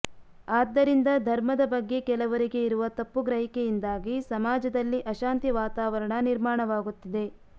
ಆದ್ದರಿಂದ ಧರ್ಮದ ಬಗ್ಗೆ ಕೆಲವರಿಗೆ ಇರುವ ತಪ್ಪು ಗ್ರಹಿಕೆಯಿಂದಾಗಿ ಸಮಾಜದಲ್ಲಿ ಅಶಾಂತಿ ವಾತಾವರಣ ನಿರ್ಮಾಣವಾಗುತ್ತಿದೆ